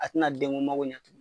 A ti na den ŋo mago ɲa.